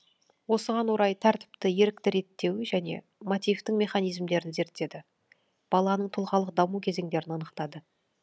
осыған орай тәртіпті ерікті реттеу және мотивтің механизмдерін зерттеді баланың тұлғалық даму кезеңдерін анықтады